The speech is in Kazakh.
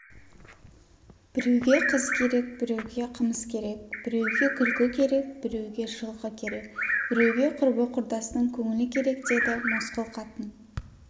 біреуге қыз керек біреуге қымыз керек біреуге күлкі керек біреуге жылқы керек біреуге құрбы-құрдастың көңілі керек деді мосқыл қатын